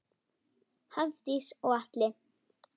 Hafdís og Atli.